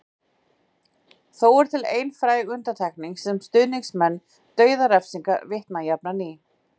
Þó er til ein fræg undantekning sem stuðningsmenn dauðarefsinga vitna jafnan í.